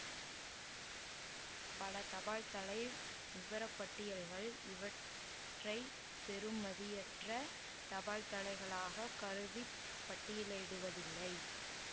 பல தபால்தலை விபரப்பட்டியல்கள் இவற்றை பெறுமதியற்ற தபால்தலைகளாகக் கருதி பட்டியலிடுவதில்லை